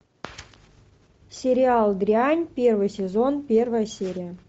сериал дрянь первый сезон первая серия